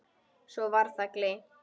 Svo var það gleymt.